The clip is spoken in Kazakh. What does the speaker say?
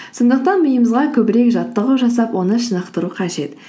сондықтан миымызға көбірек жаттығу жасап оны шынықтыру қажет